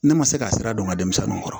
Ne ma se ka sira don n ka denmisɛnninw kɔrɔ